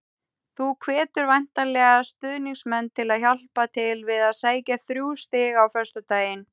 Þú hvetur væntanlega stuðningsmenn til að hjálpa til við að sækja þrjú stig á föstudag?